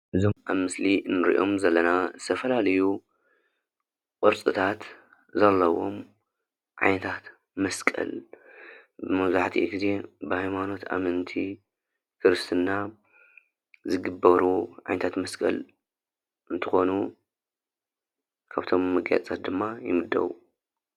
እዞም ኣብ ምስሊ እንርእዮም ዘለና ዝተፈላለዩ ቅርፅታት ዘለውዎም ዓይነታት መስቀል መብዛሕቲኡ ግዜ ብ ሃይማኖት ኣመንቲ ክርስትና ዝግበሩ ዓይነታት መስቀል እንትኮኑ ካብቶም መጋየፅታት ድማ ይምደቡ።